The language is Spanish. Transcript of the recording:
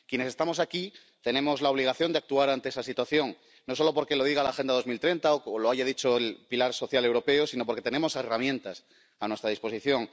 Quienes estamos aquí tenemos la obligación de actuar ante esta situación, no solo porque lo diga la Agenda 2030 o lo haya dicho el pilar social europeo, sino porque tenemos herramientas a nuestra disposición.